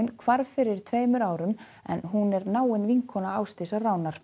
hvarf fyrir tveimur árum en hún er náin vinkona Ásdísar